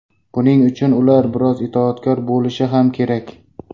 Buning uchun ular biroz itoatkor bo‘lishi ham kerak.